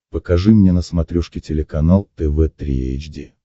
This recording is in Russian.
покажи мне на смотрешке телеканал тв три эйч ди